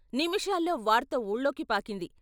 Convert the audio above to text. నిమిషాల్లో వార్త వూళ్ళోకి పాకింది.